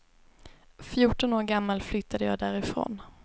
Fjorton år gammal flyttade jag därifrån.